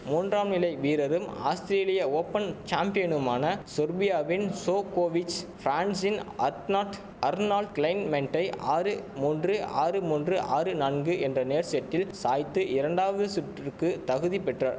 மூன்றாம் நிலை வீரரும் ஆஸ்திரேலிய ஓப்பன் சாம்பியனுமான சொர்பியாவின் ஜோகோவிச் பிரான்சின் அத்நாட் அர்னால்ட் கிளைன்மென்டை ஆறு மூன்று ஆறு மூன்று ஆறு நான்கு என்ற நேர் செட்டில் சாய்த்து இரண்டாவது சுற்றுக்கு தகுதி பெற்ற